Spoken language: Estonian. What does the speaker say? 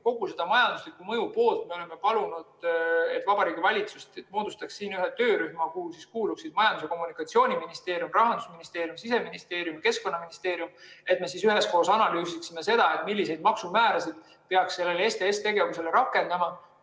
Kogu selle majandusliku mõju jaoks me oleme palunud, et Vabariigi Valitsus moodustaks ühe töörühma, kuhu kuuluksid Majandus‑ ja Kommunikatsiooniministeerium, Rahandusministeerium, Siseministeerium ja Keskkonnaministeerium, ning me üheskoos analüüsiksime seda, milliseid maksumäärasid peaks sellele STS‑tegevusele rakendama.